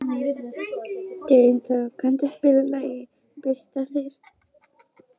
Dynþór, kanntu að spila lagið „Bústaðir“?